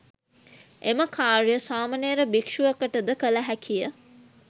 එම කාර්යය සාමණේර භික්‍ෂුවකට ද කළ හැකිය.